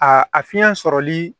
A a fiɲɛ sɔrɔli